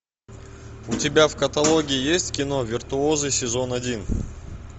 у тебя в каталоге есть кино виртуозы сезон один